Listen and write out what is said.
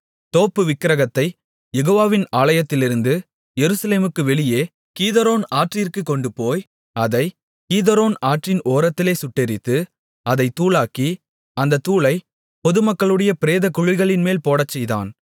தோப்பு விக்கிரகத்தை யெகோவாவின் ஆலயத்திலிருந்து எருசலேமுக்கு வெளியே கீதரோன் ஆற்றிற்குக் கொண்டுபோய் அதைக் கீதரோன் ஆற்றின் ஓரத்திலே சுட்டெரித்து அதைத் தூளாக்கி அந்தத் தூளைப் பொதுமக்களுடைய பிரேதக் குழிகளின்மேல் போடச்செய்தான்